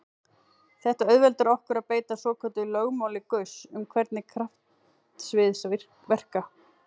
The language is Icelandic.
Þetta auðveldar okkur að beita svokölluðu lögmáli Gauss um hvernig kraftsvið verka.